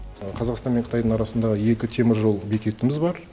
қазақстан мен қытайдың арасында екі теміржол бекетіміз бар